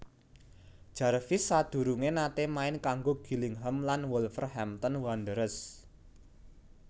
Jarvis sadurungé naté main kanggo Gillingham lan Wolverhampton Wanderers